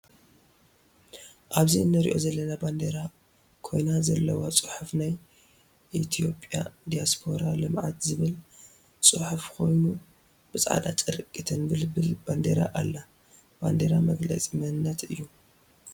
ኣብዚ እንሪኣ ዘለና ባንዴራ ኮይና ዘለዋ ፅሑፍ ናይ ኢትዮፕያ ዲያስፖራ ልምዓት ዝብል ፅሕፍ ኮይኑ ብፃዕዳ ጨርቂ ተንበልብል ባንዴራ ኣላ። ባንዴራ መግለፂ መንነት እዩ።